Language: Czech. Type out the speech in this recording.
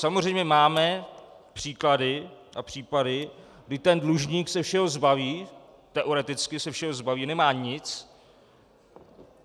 Samozřejmě máme příklady a případy, kdy ten dlužník se všeho zbaví, teoreticky se všeho zbaví, nemá nic.